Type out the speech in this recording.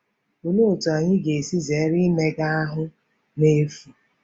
Olee otú anyị ga-esi zere imega ahụ́ n’efu?